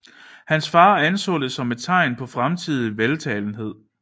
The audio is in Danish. Hans far anså det som et tegn på fremtidig veltalenhed